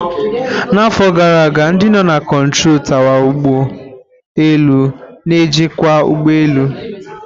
Na afọ gara aga, ndị nọ na kontrọ tawa ugbo elu n'ejikwa ụgbọ elu.